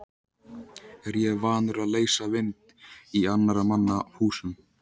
Er ég vanur að leysa vind í annarra manna húsum?